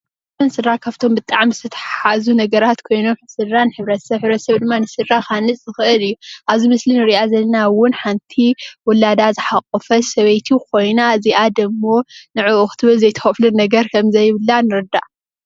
ሕብርተሰብን ስድራ ካብቶም ብጣዕሚ ዝተታሓዙ ነገራት ኮይኖም ስድራ ንሕብረተሰብ ሕብርተሰብ ንስድራ ክሃንፅ ዝክእል እዩ ።ኣብዚ ምስሊ እንርእያ ዘለና እውን ሓንቲ ውላዳ ዝሓቆፈት ሰበይቲ ኮይና እዙይ ደሞ ንዕኡ ኢላ ዘይትከፍሎ ነገር ከምዘይየብላ ንርዳእ።